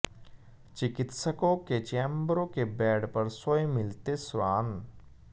चिकित्सकों के चैम्बरों के बैड पर सोए मिलते श्वान